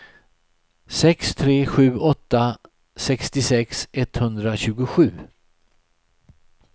sex tre sju åtta sextiosex etthundratjugosju